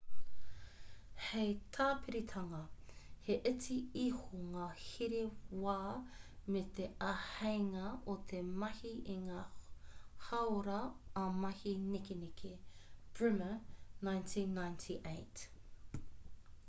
hei tāpiritanga he iti iho ngā here wā me te āheinga o te mahi i ngā hāora ā-mahi nekeneke. bremer 1998